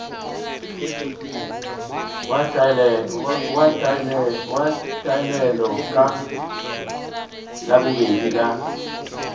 wa taelano ka labobedi la